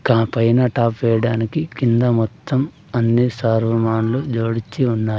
గా పైన టాప్ వేయడానికి కింద మొత్తం అన్ని సర్వమానులు జోడించి ఉన్నారు.